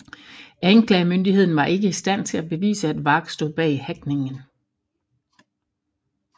Anklagemyndigheden var ikke i stand til at bevise at Warg stod bag hackningen